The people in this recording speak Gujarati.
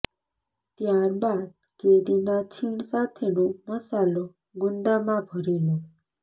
ત્યાર બાદ કેરીના છીણ સાથેનો મસાલો ગુંદામાં ભરી લો